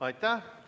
Aitäh!